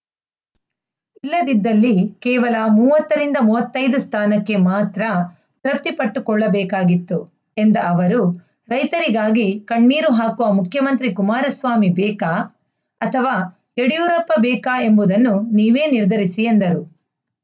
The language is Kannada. ಇಲ್ಲದಿದ್ದಲ್ಲಿ ಕೇವಲ ಮೂವತ್ತರಿಂದ ಮೂವತ್ತ್ ಐದು ಸ್ಥಾನಕ್ಕೆ ಮಾತ್ರ ತೃಪ್ತಿಪಟ್ಟುಕೊಳ್ಳಬೇಕಾಗಿತ್ತು ಎಂದ ಅವರು ರೈತರಿಗಾಗಿ ಕಣ್ಣೀರು ಹಾಕುವ ಮುಖ್ಯಮಂತ್ರಿ ಕುಮಾರಸ್ವಾಮಿ ಬೇಕಾ ಅಥವಾ ಯಡಿಯೂರಪ್ಪ ಬೇಕಾ ಎಂಬುದನ್ನು ನೀವೇ ನಿರ್ಧರಿಸಿ ಎಂದರು